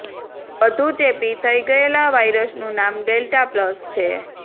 વધુ ચેપી થઈ ગયેલા વાયરસનુ નામ ડેલ્ટા પ્લસ છે